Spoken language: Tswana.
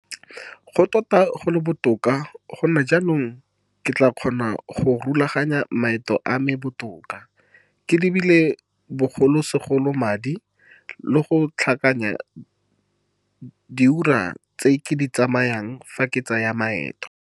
Go tota go le botoka gonne jaanong ke tla kgona go rulaganya maeto a me botoka, ke lebile bogolosegolo madi, le go tlhakanya diura tse ke di tsayang fa ke tsaya maeto.